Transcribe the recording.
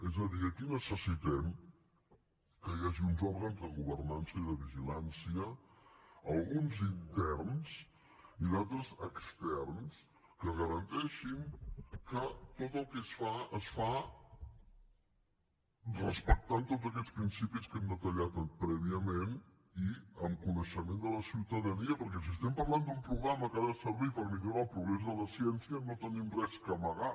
és a dir aquí necessitem que hi hagi uns òrgans de governança i de vigilància alguns interns i d’altres externs que garanteixin que tot el que es fa es fa respectant tots aquests principis que hem detallat prèviament i amb coneixement de la ciutadania perquè si estem parlant d’un programa que ha de servir per millorar el progrés de la ciència no tenim res a amagar